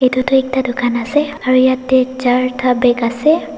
edu tu ekta dukan ase aro yatae charta bag ase.